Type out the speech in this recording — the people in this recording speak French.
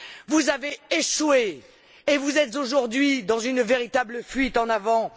Vous avez échoué et vous êtes aujourd'hui dans une véritable fuite en avant.